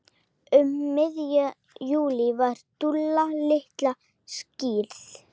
Um miðjan júlí var Dúlla litla skírð.